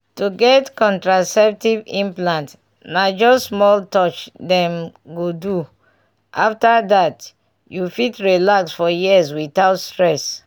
to get contraceptive implant na just small touch dem go do — after that you fit relax for years without stress.